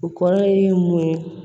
O kɔrɔ ye mun ye